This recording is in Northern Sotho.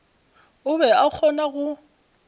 o be a kgona go